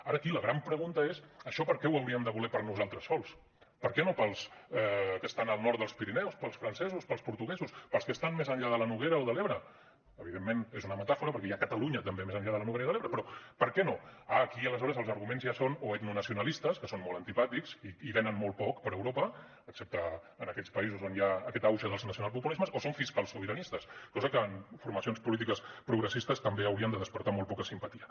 ara aquí la gran pregunta és això per què ho hauríem de voler per a nosaltres sols per què no per als que estan al nord dels pirineus per als francesos per als portuguesos per als que estan més enllà de la noguera o de l’ebre evidentment és una metàfora perquè hi ha catalunya també més enllà de la noguera i de l’ebre però per què no ah aquí aleshores els arguments ja són o etnonacionalistes que són molt antipàtics i venen molt poc per europa excepte en aquests països on hi ha aquest auge dels nacionalpopulismes o són fiscalsobiranistes cosa que en formacions polítiques progressistes també haurien de despertar molt poca simpatia